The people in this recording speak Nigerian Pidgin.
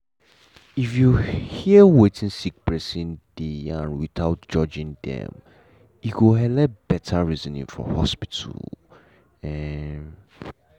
if you head wetin sick person deg yarn without judging dem e go helep better reasoning for hospital. um